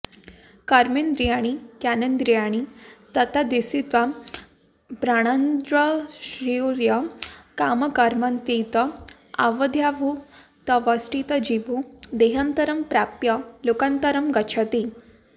कर्मेन्द्रियाणि ज्ञानेन्द्रियाणि तत्तद्विषयान्प्राणान्संहृत्य कामकर्मान्वित अविद्याभूतवेष्टितो जीवो देहान्तरं प्राप्य लोकान्तरं गच्छति